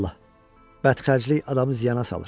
Bədxərclik adamı ziyana salır.